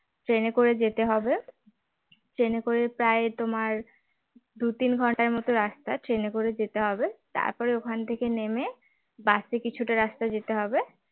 ট্রেনে করে যেতে হবে ট্রেনে করে প্রায় তোমার দু তিন ঘন্টার মত রাস্তা ট্রেনে করে যেতে হবে তারপরে ওখান থেকে নেমে বাসে কিছুটা রাস্তা যেতে হবে